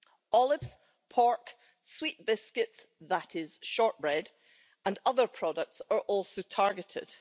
Olives, pork, sweet biscuits that is shortbread and other products are also targeted.